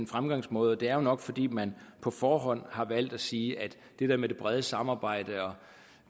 fremgangsmåde det er nok fordi man på forhånd har valgt at sige at det det brede samarbejde